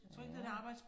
Ja